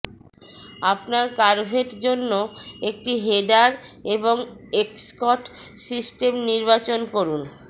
আপনার কারভেট জন্য একটি হেডার এবং এক্সস্ট সিস্টেম নির্বাচন করুন